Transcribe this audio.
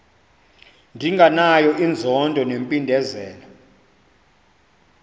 ndinganayo inzondo nempindezelo